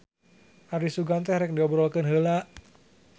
Ari sugan teh rek diobrolkeun heula.